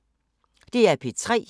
DR P3